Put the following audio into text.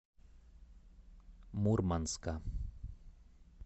мурманска